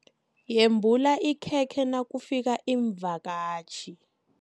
Yembula ikhekhe nakufika iimvakatjhi.